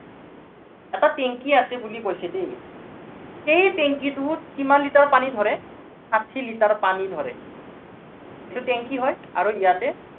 এটা টেংকী আছে বুলি কৈছে দেই। সেই টেংকীটোত কিমান লিটাৰ পানী ধৰে, ষাঠী লিটাৰ পানী ধৰে। এইটো টেংকী হয়, আৰু ইয়াতে